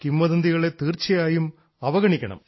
കിംവദന്തികളെ തീർച്ചയായും അവഗണിക്കണം